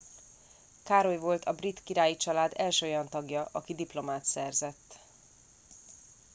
károly volt a brit királyi család első olyan tagja aki diplomát szerzett